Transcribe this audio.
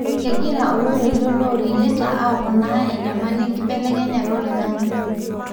kengira oloirerio loreyieta apoona enyamali enkibelekenyata oloingange.